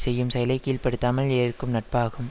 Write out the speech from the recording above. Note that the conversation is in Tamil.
செய்யும் செயலை கீழ்ப்படுத்தாமல் ஏற்கும் நட்பாகும்